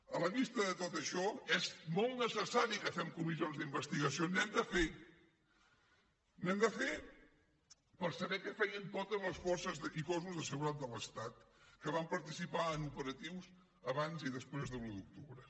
a la vista de tot això és molt necessari que fem comissions d’investigació n’hem de fer n’hem de fer per saber què feien totes les forces i cossos de seguretat de l’estat que van participar en operatius abans i després de l’un d’octubre